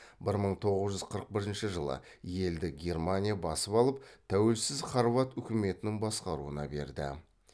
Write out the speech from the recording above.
бір мың тоғыз жүз қырық бірінші жылы елді германия басып алып тәуелсіз хорват үкіметінің басқаруына берді